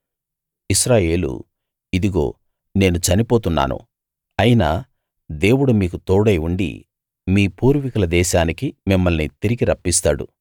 ఇశ్రాయేలు ఇదిగో నేను చనిపోతున్నాను అయినా దేవుడు మీకు తోడై ఉండి మీ పూర్వీకుల దేశానికి మిమ్మల్ని తిరిగి రప్పిస్తాడు